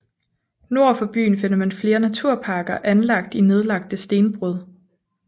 Nord for byen finder man flere naturparker anlagt i nedlagte stenbrud